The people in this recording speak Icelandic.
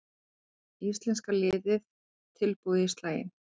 Íslenska liðið tilbúið í slaginn